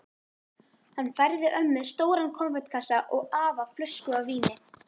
Hann færði ömmu stóran konfektkassa og afa flösku af víni.